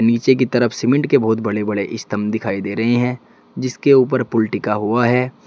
नीचे की तरफ सीमेंट के बहुत बड़े बड़े स्तंभ दिखाई दे रहे हैं जिसके ऊपर पूल टीका हुआ है।